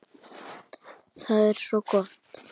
Það er svo gott!